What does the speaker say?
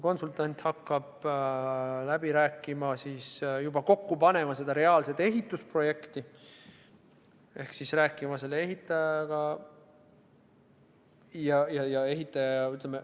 Konsultant hakkab läbi rääkima, juba kokku panema reaalset ehitusprojekti ehk siis rääkima ehitajaga.